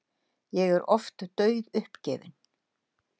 Ég er oft dauðuppgefinn.